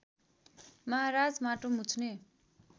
महाराज माटो मुछ्ने